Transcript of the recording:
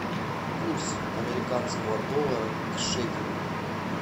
курс американского доллара к шекелю